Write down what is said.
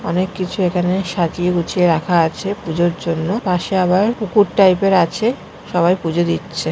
অনেক কিছু এখানে সাজিয়ে গুছিয়ে রাখা আছে পুজোর জন্য পাশে আবার পুকুর টাইপ -এর আছে সবাই পুজো দিচ্ছে।